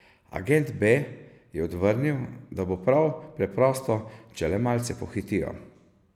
Agent B je odvrnil, da bo prav preprosto, če le malce pohitijo.